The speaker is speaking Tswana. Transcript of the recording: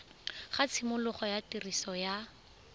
ga tshimologo ya tiriso ya